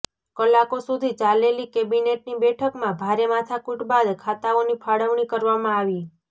કલાકો સુધી ચાલેલી કેબિનેટની બેઠકમાં ભારે માથાકુટ બાદ ખાતાઓની ફાળવણી કરવામાં આવી